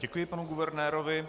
Děkuji panu guvernérovi.